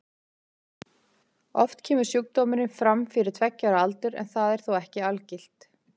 Oft kemur sjúkdómurinn fram fyrir tveggja ára aldur en það er þó ekki algilt.